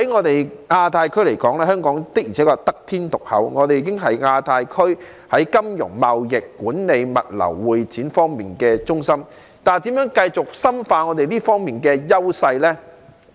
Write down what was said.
在亞太區來說，香港的確是得天獨厚，我們已是亞太區在金融、貿易、管理、物流、會展方面的中心，但我們應如何繼續深化這方面的優勢呢？